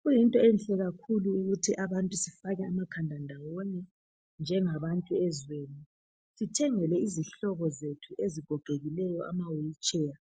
Kuyinto enhle kakhulu ukuthi abantu sifake amakhanda ndawonye njengabantu ezweni sithengele izihlobo zethu ezigogekileyo ama wheelchair